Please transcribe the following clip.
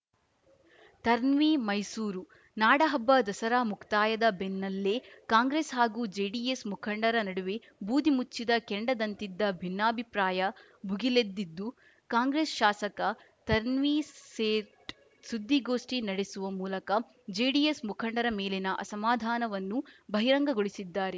ತರ್ನ್ವಿ ಮೈಸೂರು ನಾಡಹಬ್ಬ ದಸರಾ ಮುಕ್ತಾಯದ ಬೆನ್ನಲ್ಲೇ ಕಾಂಗ್ರೆಸ್‌ ಹಾಗೂ ಜೆಡಿಎಸ್‌ ಮುಖಂಡರ ನಡುವೆ ಬೂದಿ ಮುಚ್ಚಿದ ಕೆಂಡದಂತಿದ್ದ ಭಿನ್ನಾಭಿಪ್ರಾಯ ಭುಗಿಲೆದ್ದಿದ್ದು ಕಾಂಗ್ರೆಸ್‌ ಶಾಸಕ ತನ್ವೀರ್‌ಸೇಠ್‌ ಸುದ್ದಿಗೋಷ್ಠಿ ನಡೆಸುವ ಮೂಲಕ ಜೆಡಿಎಸ್‌ ಮುಖಂಡರ ಮೇಲಿನ ಅಸಮಾಧಾನವನ್ನು ಬಹಿರಂಗಗೊಳಿಸಿದ್ದಾರೆ